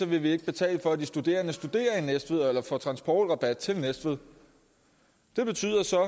vil betale for at de studerende studerer i næstved altså får transportrabat til næstved det betyder så